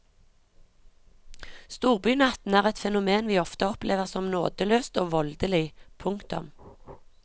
Storbynatten er et fenomen vi ofte opplever som nådeløst og voldelig. punktum